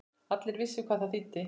Allir vissu hvað það þýddi.